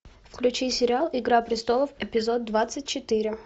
включи сериал игра престолов эпизод двадцать четыре